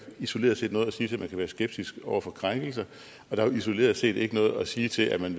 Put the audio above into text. isoleret set noget at sige til at man kan være skeptisk over for krænkelser og der er jo isoleret set ikke noget at sige til at man